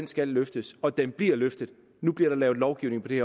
skal løftes og den bliver løftet nu bliver der lavet lovgivning på det